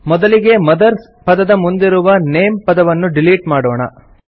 ಮೊದಲಿಗೆ ಮದರ್ಸ್ ಪದದ ಮುಂದಿರುವ ನೇಮ್ ಪದವನ್ನು ಡಿಲೀಟ್ ಮಾಡೋಣ